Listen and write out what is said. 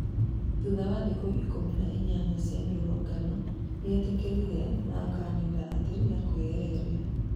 thutha wa thikũ ikumĩ na ĩnyanya cĩa mĩrũrũngano, nĩetĩkĩrire naakĩanĩrĩra atĩ nĩarenyeheria